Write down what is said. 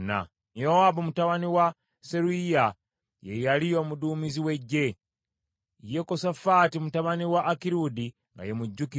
Yowaabu mutabani wa Seruyiya ye yali omuduumizi w’eggye; Yekosafaati mutabani wa Akirudi nga ye mujjukiza;